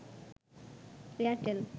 Airtel